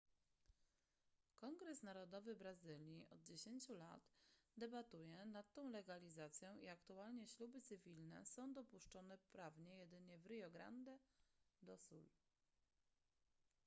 kongres narodowy brazylii od 10 lat debatuje nad tą legalizacją i aktualnie śluby cywilne są dopuszczone prawnie jedynie w rio grande do sul